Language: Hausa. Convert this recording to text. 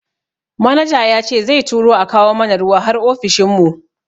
Manaja yace zai turo a kawo mana ruwa har ofishin mu.